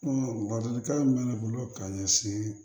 ladilikan min bɛ ne bolo ka ɲɛsin